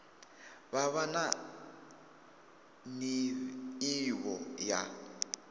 vha vha na nḓivho ya